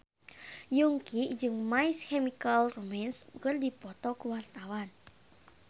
Yongki jeung My Chemical Romance keur dipoto ku wartawan